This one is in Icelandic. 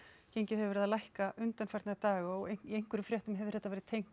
gengið hefur verið að lækka undanfarna daga og í einhverjum fréttum hefur þetta verið tengt